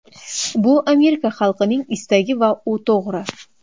Bu Amerika xalqining istagi va u to‘g‘ri.